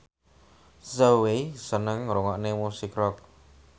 Zhao Wei seneng ngrungokne musik rock